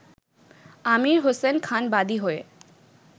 আমীর হোসেন খান বাদী হয়ে